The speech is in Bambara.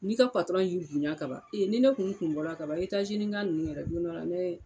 N'i ka patɔrɔn y'i bonya ka ban e ni ne kun kun bɔra kaban etazini ka nunnu yɛrɛ don dɔla ne